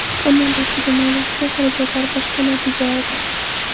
Ammo barchaga ma’lumki, xarajatlar boshqa, natijalar boshqa.